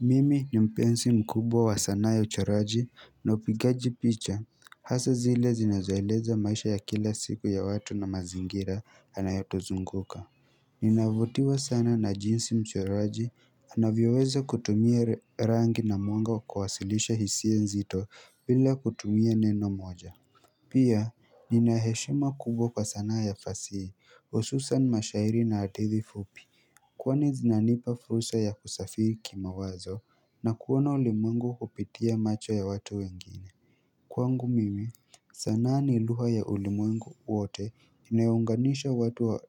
Mimi ni mpenzi mkubwa wa sanaa ya uchoraji na upigaji picha hasa zile zinazoeleza maisha ya kila siku ya watu na mazingira yanayotuzunguka Ninavutiwa sana na jinsi mchoraji anavyoweza kutumia rangi na mwanga kawasilisha hisia nzito bila kutumia neno moja pia nina heshima kubwa kwa sanaa ya fasihi hususan mashairi na hadithi fupi Kwani zinanipa fursa ya kusafiri kimawazo na kuona ulimwengu kupitia macho ya watu wengine kwangu mimi sanaa ni lugha ya ulimwengu wote inayounganisha watu wa